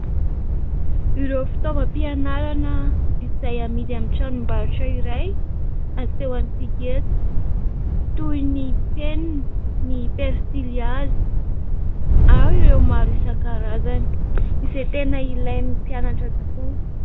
Ireo fitaovam-pianarana izay amidy amin'ny tranombarotra iray asehontsika eto, toy ny penina, ny pensily hazo ary ireo maro isan-karazany izay tena ilain'ny mpianatra tokoa.